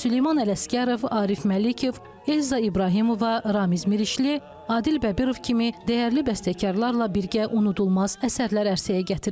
Süleyman Ələsgərov, Arif Məlikov, Elza İbrahimova, Ramiz Mirişli, Adil Bəbirov kimi dəyərli bəstəkarlarla birgə unudulmaz əsərlər ərsəyə gətirib.